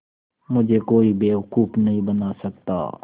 मुझे कोई बेवकूफ़ नहीं बना सकता